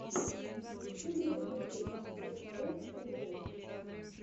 на ютюбе покажи бос бос калибос